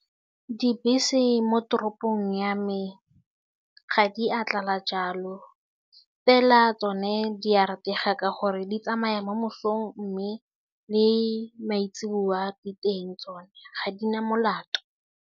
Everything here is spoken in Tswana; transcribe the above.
Dibese mo toropong ya me ga di a tlala jalo fela tsone di a ratega ka gore di tsamaya mo mosong mme le maitseboa di teng tsone ga di na molato.